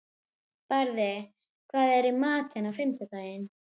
Barði, hvað er í matinn á fimmtudaginn?